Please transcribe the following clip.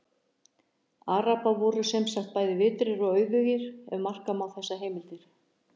Arabar voru sem sagt bæði vitrir og auðugir, ef marka má þessar heimildir.